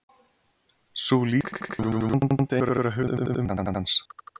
sú lýsing gefur vonandi einhverja hugmynd um verk hans